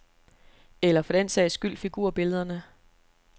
Eller for den sags skyld figurbillederne.